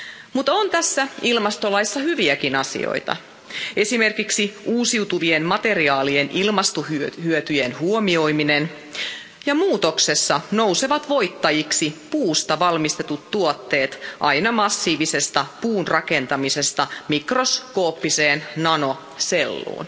Mutta on tässä ilmastolaissa hyviäkin asioita, esimerkiksi uusiutuvien materiaalien ilmastohyötyjen huomioiminen ja muutoksessa nousevat voittajiksi puusta valmistetut tuotteet aina massiivisesta puunrakentamisesta mikroskooppiseen nanoselluun.